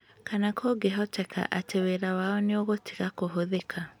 Kana kũngĩhoteka atĩ wĩra wao nĩ ũgũtiga kũhũthĩka.